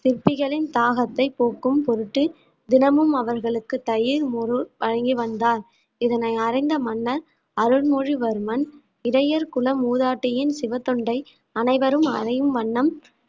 சிற்பிகளின் தாகத்தை போக்கும் பொருட்டு தினமும் அவர்களுக்கு தயிர் மோரு வழங்கி வந்தால் இதனை அறிந்த மன்னர் அருள்மொழிவர்மன் இடையல் குல மூதாட்டியின் சிவத்தொண்டை அனைவரும் அறியும் வண்ணம்